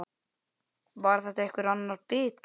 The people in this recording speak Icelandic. Var þetta einhver annar bíll?